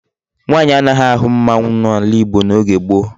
Nwaanyi anaghi ahu mmanwu n'ala igbo n'oge gboo